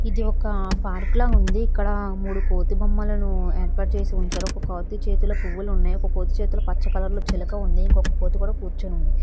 ఇది ఒక పార్కు ల ఉంది ఇక్కడ మూడు కోతి బొమ్మలను ఏర్పాటు చేసి ఉంచారు ఒక కోతి చేతిలో పువ్వులు ఉన్నాయి ఒక కోతి చేతిలో పచ్చ కలర్లో చిలుక ఉంది ఇంకొక కోతి కూడా కూర్చుని ఉంది.